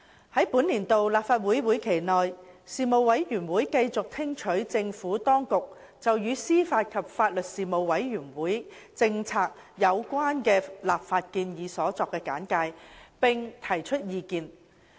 在本年度立法會會期內，事務委員會繼續聽取政府當局就與司法及法律事務政策有關的立法建議所作的簡介，並提出意見。